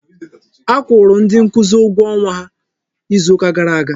A kwụrụ ndị nkuzi ụgwọ ọnwa ha izu ka gara aga.